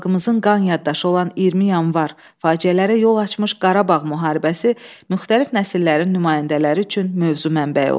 Xalqımızın qan yaddaşı olan 20 Yanvar faciələrə yol açmış Qarabağ müharibəsi müxtəlif nəsillərin nümayəndələri üçün mövzu mənbəyi olub.